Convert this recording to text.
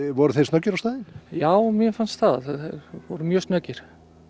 voru þeir snöggir á staðinn já mér fannst það þeir voru mjög snöggir